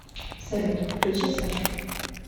салют включи сашу